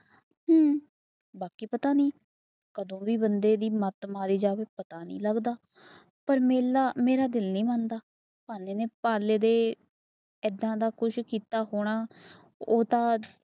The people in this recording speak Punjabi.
ਕੀ ਪਤਾ ਨੀ ਬੰਦੇ ਦੀ ਮੱਤ ਮਾਰੀ ਜਾਵੇ ਪਤਾ ਨੀ ਲੱਗਦਾ ਮੇਲਾ ਮੇਰਾ ਦਿਲ ਨੀ ਮੰਨਦਾ ਪਾਲੇ ਦੇ ਕਿਸ ਤਰ੍ਹਾਂ ਦਾ ਕੀਤਾ ਹੋਣਾ